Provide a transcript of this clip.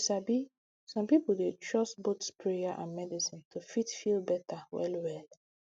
you sabi some pipo dey trust both prayer and medicine to fit feel better well well